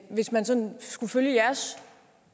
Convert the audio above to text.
hvis man sådan skulle følge jeres